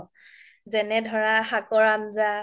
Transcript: যেনে ধৰা শাকৰ আন্জ্যা